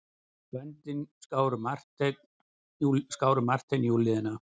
Böndin skáru Martein í úlnliðina.